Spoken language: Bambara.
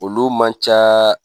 Olu man ca